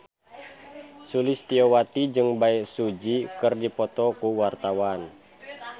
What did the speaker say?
Sulistyowati jeung Bae Su Ji keur dipoto ku wartawan